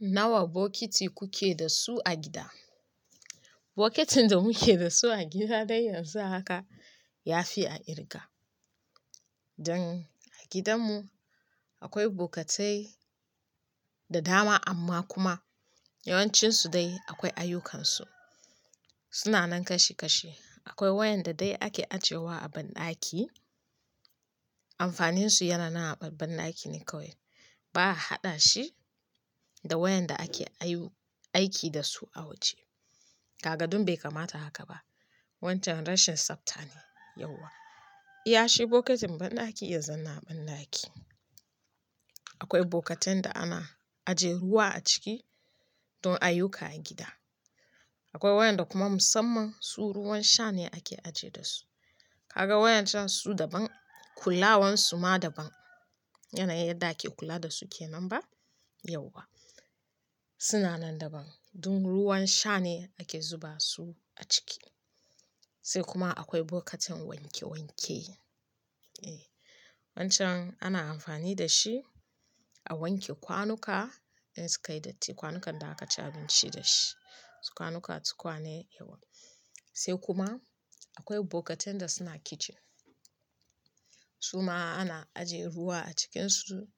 Nawa bokiti kuke da su a gida? Bokitin da muke da su a gida dai yanzu haka ya fi a kirga. Don a gidanmu akwai bokatai da dama amma kuma yawancinsu dai akwai ayyukansu. Suna nan kash kashi. Akwai wayanda dai ake ajiyewa a banɗaki. Amfaninsu yana nan a banɗaki ne kawai. Ba a haɗa shi da wayanda ake aiki da su a waje. Kaga don bai kamata haka ba. Wancan rashin tsabta ne yauwa. Iya shi bokitin banɗaki ya zauna a banɗaki. Akwai bokatin da ana ajiye ruwa a ciki don ayyuka a gida. Akwai wayanda kuma musamman su ruwan sha ne ake ajiye da su. Ka ga wayancan su daban, kulawansu ma daban. Yanayin yadda ake kula da su ke nan ba yauwa. Suna nan daban. Don ruwan sha ne ake zuba su a ciki. Sai kuma akwai bokatin wanke wanke. E! Wancan ana amfani da shi a wanke kwanuka in suka yi datti. Kwanukan da aka ci abinci da shi. Sukwanuka, tukwane, ewa. Sai kuma akwai bokatin da suna kicin. Su ma ana ajiye ruwa a cikinsu.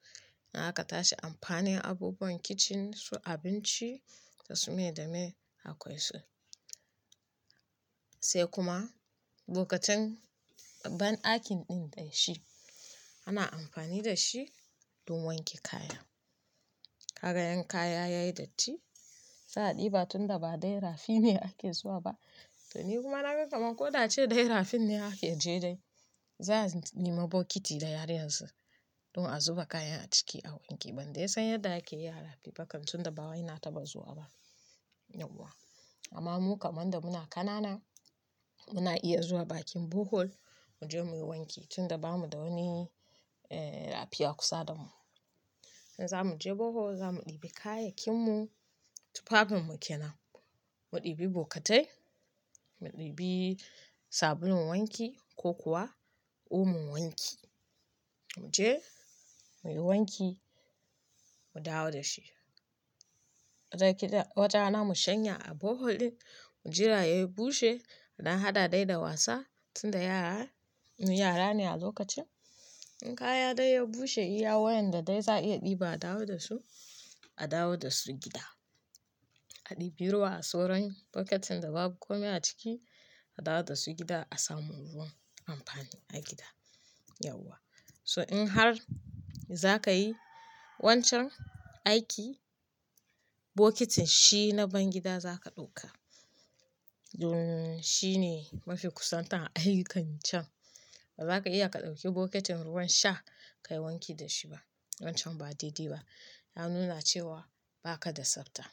In aka tashi amfanin abubuwan kicin su abinci da su mai da mai akwai su. Sai kuma bokatin banɗakin ɗin dai shi ana amfani da shi don wanke kaya. Ka ga yan kaya yayi datti, sa a ɗibi tun da ba dai rafi ne ake zuwa ba. To ni kuma na ga kamar ko da ce dai rafin ne ake je dai, za a nema bokiti da yare yanzu don a zuba kaya a ciki a wanke. Ban dai san yadda ake yi a rafi ba kan tun da ba waina ta ba zuwa ba, yauwa. Amma mu kamar da muna kanana, muna iya zuwa bakin bohol mu je mu yi wanki tun da bamu da wani, eh, rafiya kusa da mu. In za mu je bohol, za mu ɗibi kayakinmu tufafin mu ke nan. Mu ɗibi bokatai, mu ɗibi sabulun wanki ko kuwa omun wanki. Mu je mu yi wanki, mu dawo da shi. Wata rana mu shanya a bohol ɗin, mu jira ya bushe. Da hada dai da wasa tun da yara, mu yara ne a lokacin. In kaya dai ya bushe iya wayanda dai za a iya ɗiba a dawo da su, a dawo da su gida. A ɗibi ruwa a soron bokitin da babu kome a ciki, a dawo da su gida a samu ruwan amfani a gida, yauwa. So in har za ka yi wancan aiki, bokitin shi na ban gida za ka ɗauka. Don shi ne mafi kusantar a aikin can. Ba za ka iya ka ɗauki bokitin ruwan sha ka yi wanki da shi ba. Wancan ba daidi ba. Ya nuna cewa ba ka da tsabta.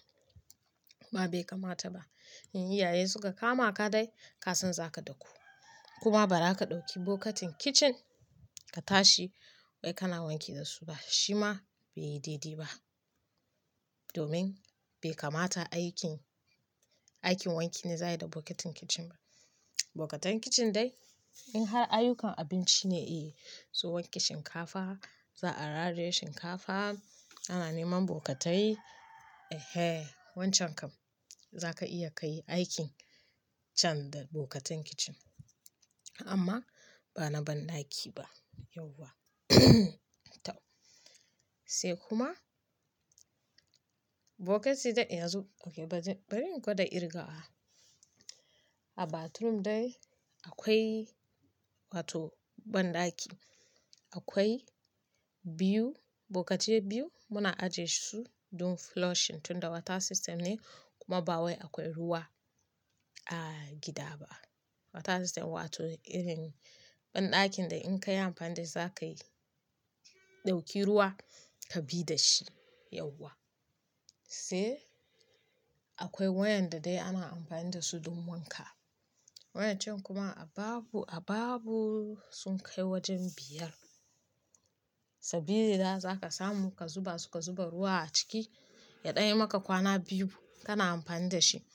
Ba bai kamata ba. In iyaye suka kama ka dai, ka san za ka daku. Kuma ba raka ɗauki bokatin kicin ka tashi wai kana wanki da su ba. Shi ma bai daidi ba. Domin bai kamata aikin, aikin wanki ne za a yi da bokitin kicin ba. Bokatan kicin dai in har ayyukan abinci ne, eh, so wanke shinkafa, za a raraye shinkafa, ana neman bokitai. Ehe! Wancan kam za ka iya ka yi aikin can da bokatin kicin. Amma ba na banɗaki ba, yauwa. Sai kuma bokiti dai ya zo, okay bari, bari in goda kirgawa. A bathroom dai akwai wato banɗaki. Akwai biyu, bokiti biyu muna ajiye su don flushing tun da water system ne kuma ba wai akwai ruwa a gida ba. Water system wato irin banɗakin da in ka yi amfani dai za ka yi, ɗauki ruwa ka bi da shi, yauwa. Sai akwai wayanda dai ana amfani da su don wanka. Wayancan kuma a babu, a babu sun kai wajen biyar. Sabili da za ka samu ka zuba suka zuba ruwa a ciki, ya ɗan yi maka kwana biyu kana amfani da shi.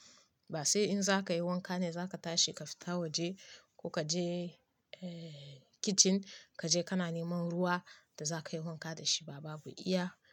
Ba sai in za ka yi wanka ne za ka tashi ka fita waje ko ka je, eh, kicin ka je kana neman ruwa da za ka yi wanka da shi ba. Babu iya haka.